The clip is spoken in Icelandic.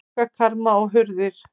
Gluggakarma og hurðir.